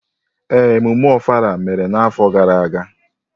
Ee, emume Ofala mere n’afọ gara aga.